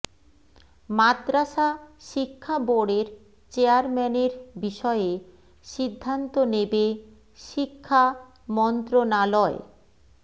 মাদ্রাসা শিক্ষা বোর্ডের চেয়ারম্যানের বিষয়ে সিদ্ধান্ত নেবে শিক্ষা মন্ত্রণালয়